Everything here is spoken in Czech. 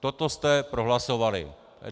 Toto jste prohlasovali.